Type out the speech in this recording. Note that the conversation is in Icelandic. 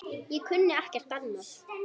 Ég kunni ekkert annað.